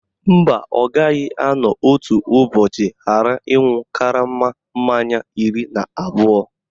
Mba, ọ gaghị anọ otu ụbọchị ghara ịṅụ karama mmanya iri na abụọ